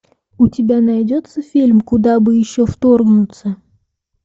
у тебя найдется фильм куда бы еще вторгнуться